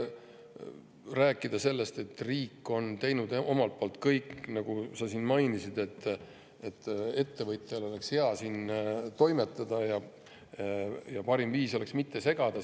Räägitakse, et riik on teinud omalt poolt kõik, nagu sinagi mainisid, et ettevõtjal oleks hea siin toimetada, ja parim viis oleks neid mitte segada.